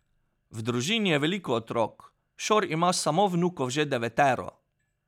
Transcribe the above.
V družini je veliko otrok, Šor ima samo vnukov že devetero.